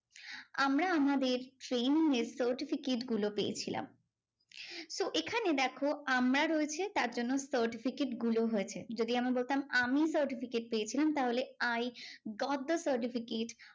আমরা আমাদের training এর certificate গুলো পেয়েছিলাম। তো এখানে দেখো আমরা রয়েছে তারজন্য certificate গুলো হয়েছে। যদি আমি বলতাম আমি certificate পেয়েছিলাম তাহলে I got the certificate